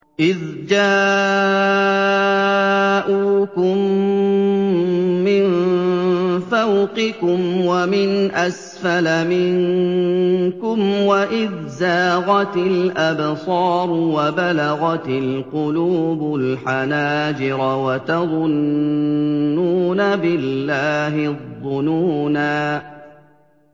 إِذْ جَاءُوكُم مِّن فَوْقِكُمْ وَمِنْ أَسْفَلَ مِنكُمْ وَإِذْ زَاغَتِ الْأَبْصَارُ وَبَلَغَتِ الْقُلُوبُ الْحَنَاجِرَ وَتَظُنُّونَ بِاللَّهِ الظُّنُونَا